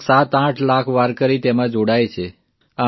લગભગ સાતઆઠ લાખ વાર્કરી તેમાં જોડાય છે